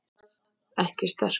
Ekki sterk.